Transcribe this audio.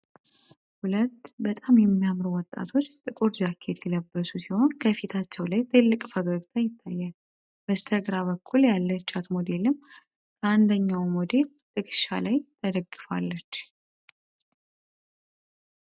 ሁለት በጣም የሚያምር ወጣቶች ጥቁር ጃኬት የለበሱ ሲሆን ከፊታቸው ላይ ጥልቅ ፈገግታ ይታያል በስተግራው በኩል ያለቻት ሞዴልም ከአንደኛው ሞዴል ትክሻ ላይ ተገደፋለች።